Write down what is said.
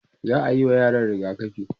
za'ayi wa yaran rigakafi